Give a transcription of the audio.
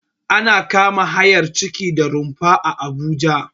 Ana kama hayar ciki da rumfaa Abuja